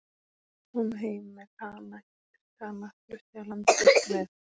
Kom heim með Kana, giftist Kana, flutti af landi burt með